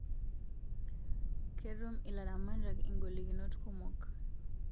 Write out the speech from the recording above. Ketum ilaramatak igolikinot kumok